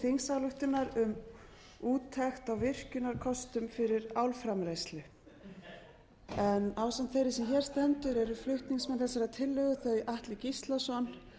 þingsályktunar um úttekt á virkjunarkostum fyrir álframleiðslu ásamt þeirri sem hér stendur eru flutningsmenn þessarar tillögu þau atli gíslason